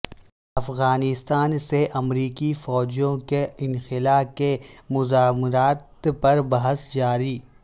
افغانستان سے امریکی فوجوں کے انخلا کے مضمرات پر بحث جاری